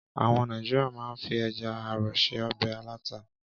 Àwọn Nàìjíríà máa ń fi ẹja-àrọ̀ se ọbẹ̀ aláta.